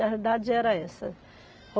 A verdade era essa.